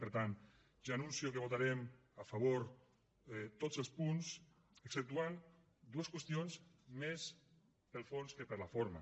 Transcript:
per tant ja anuncio que votarem a favor tots els punts exceptuant dues qüestions més pel fons que per la forma